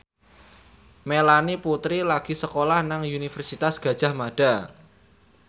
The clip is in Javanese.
Melanie Putri lagi sekolah nang Universitas Gadjah Mada